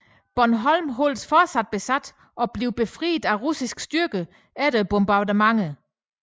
Bornholm holdes fortsat besat og bliver befriet af russiske styrker efter bombardementer